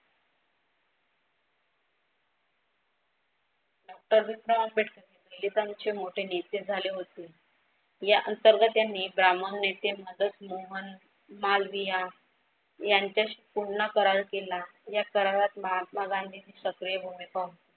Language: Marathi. आंबेडकर दलितांचे मोठे नेते झाले होते. या अंतर्गत त्यांनी ब्राह्मण नेते, मदनमोहन, मालविया यांच्याशी पुन्हा करार केला. या करारात महात्मा गांधीची सक्रीय भूमिका होती.